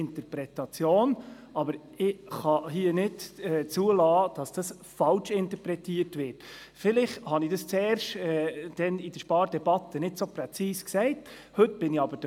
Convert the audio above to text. Sie wollen sich anschauen, wie der Rat tagt oder vielleicht auch, wie der Präsident diesen führt.